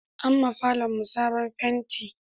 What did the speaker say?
An ma falon mu sabon fenti